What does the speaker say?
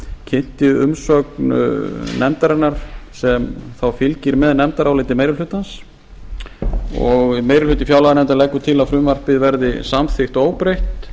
kynnti umsögn nefndarinnar sem þá fylgir með nefndaráliti meiri hlutans og meiri hluti fjárlaganefndar leggur til að frumvarpið verði samþykkt óbreytt